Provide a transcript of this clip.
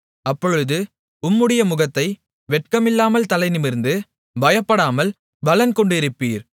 அப்பொழுது உம்முடைய முகத்தை வெட்கமில்லாமல் தலைநிமிர்ந்து பயப்படாமல் பலன்கொண்டிருப்பீர்